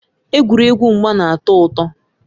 Egwuregwu mgba na-atọ ụtọ.